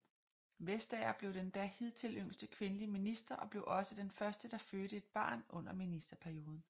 Vestager blev den da hidtil yngste kvindelige minister og blev også den første der fødte et barn under ministerperioden